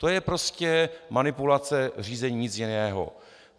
To je prostě manipulace řízení, nic jiného.